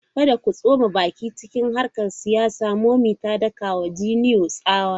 Kada ku tsoma baki cikin harkokin siyasa! Mummy ta daka wa Junior tsawa!